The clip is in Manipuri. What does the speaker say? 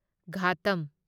ꯘꯥꯇꯝ